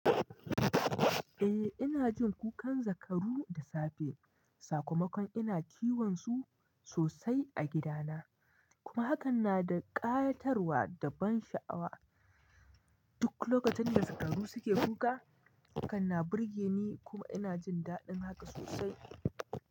Eh ina jin kukan zakaru da safe. Sakamakon ina kiwon su sosai a gida na. Kuma hakan na da ƙayatarwa da ban sha'awa. Duk lokacin da zakaru suke kuka, hakan na burge ni kuma ina jin daɗin haka sosai.